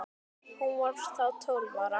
Hún var þá tólf ára.